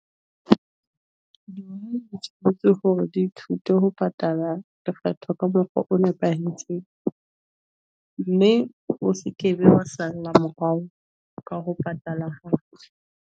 Hore di thuto ho patala di fetwa ka mokgwa o nepahetseng, mme o sekebe wa sala morao ka ho patala .